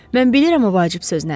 Mən bilirəm o vacib söz nədir.